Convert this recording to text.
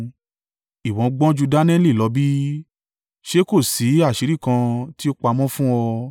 Ìwọ gbọ́n ju Daniẹli lọ bí? Ṣé kò sí àṣírí kan tí ó pamọ́ fún ọ?